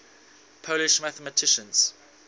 polish mathematicians